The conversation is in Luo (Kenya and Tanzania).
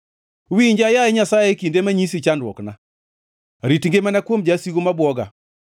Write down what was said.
Winja, Yaye Nyasaye e kinde manyisi chandruokna; rit ngimana kuom jasigu ma bwoga.